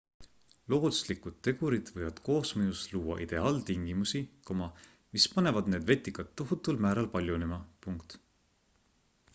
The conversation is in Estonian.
looduslikud tegurid võivad koosmõjus luua ideaaltingimusi mis panevad need vetikad tohutul määral paljunema